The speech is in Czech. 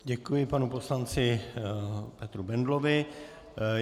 Děkuji panu poslanci Petru Bendlovi.